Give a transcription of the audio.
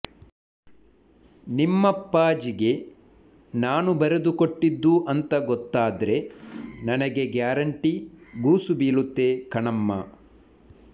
ನಿಮ್ಮಪ್ಪಾಜಿಗೆ ನಾನು ಬರೆದುಕೊಟ್ಟಿದ್ದು ಅಂತಾ ಗೊತ್ತಾದ್ರೆ ನನಗೆ ಗ್ಯಾರಂಟಿ ಗೂಸು ಬೀಳುತ್ತೆ ಕಣಮ್ಮ